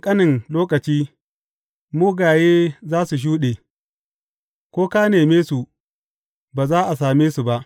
A ɗan ƙanƙanen lokaci, mugaye za su shuɗe; ko ka neme su, ba za a same su ba.